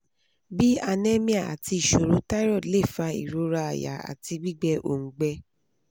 bi anemia ati iṣoro thyroid le fa irora aya ati gbigbẹ oungbe